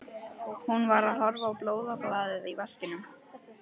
Hún var að horfa á blóðbaðið í vaskinum.